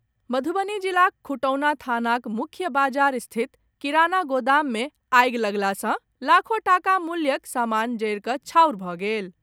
मधुबनी जिलाक खुटौना थानाक मुख्य बाजार स्थित किराना गोदाम मे आगि लगला सॅ लाखो टाका मूल्यक सामान जरि कऽ छाउर भऽ गेल।